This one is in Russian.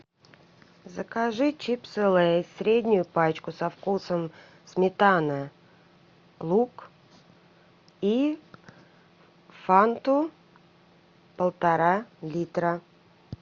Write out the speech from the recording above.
закажи чипсы лейс среднюю пачку со вкусом сметана лук и фанту полтора литра